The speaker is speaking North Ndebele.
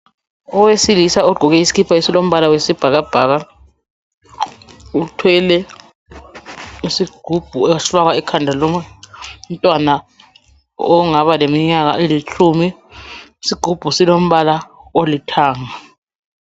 Owesilisa ogqoke isikipa esilombala wesibhakabhaka uthwele isigubhu wasifaka ekhanda lomntwana ongaba leminyaka elitshumi. Isigubhu silombala olithanga.